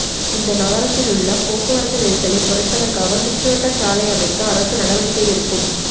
இந்த நகரத்திலுள்ள போக்குவரத்து நெரிசலை குறைப்பதற்காக சுற்று வட்டச் சாலை அமைக்க அரசு நடவடிகை எடுக்கும்